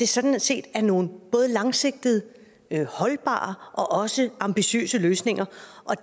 sådan set er nogle både langsigtede holdbare og også ambitiøse løsninger